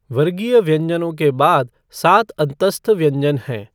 वर्गीय व्यञ्जनों के बाद सात अन्तःस्थ व्यञ्जन हैं।